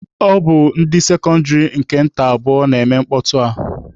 Ọ bụ ndị sekọndịrị nta nke abụọ na-eme mkpọtụ a.